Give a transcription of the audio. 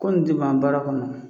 Ko in ti ban baara kɔnɔ